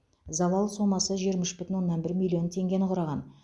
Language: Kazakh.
залал сомасы жиырма үш бүтін оннан бір миллион теңгені құраған